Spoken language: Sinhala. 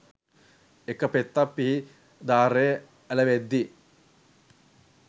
එක පෙත්තක් පිහි දාරෙ ඇලවෙද්දි